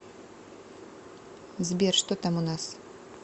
сбер что там у нас